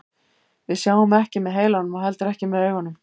Við sjáum ekki með heilanum og heldur ekki með augunum.